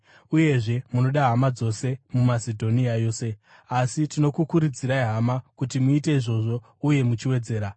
Uyezve, munoda hama dzose muMasedhonia yose. Asi tinokukurudzirai, hama, kuti muite izvozvo uye muchiwedzera.